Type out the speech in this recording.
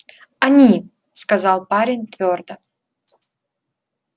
они сказал парень твёрдо